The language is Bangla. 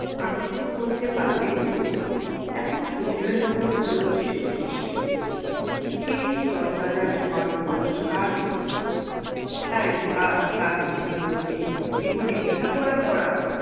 আনন্দ করতে পারলেন কই এখন সুবিনয় বাবুর বয়স চল্লিশ পেরিয়েছে সেই তরতাজা জোয়ান বয়স আর ফিরবে না তাই আজ তার মনে হল যে জীবনে লেখাপড়া করা